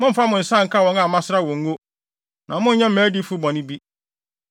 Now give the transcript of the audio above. “Mommfa mo nsa nka wɔn a masra wɔn ngo, na monnyɛ mʼadiyifo bɔne bi.”